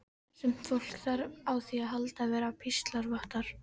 Sumt fólk þarf á því að halda að vera píslarvottar.